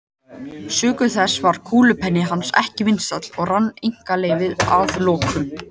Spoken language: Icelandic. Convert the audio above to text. Sökum þess varð kúlupenni hans ekki vinsæll og rann einkaleyfið að lokum út.